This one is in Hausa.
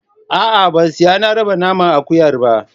A'a ba sai na raba naman akuyar ba.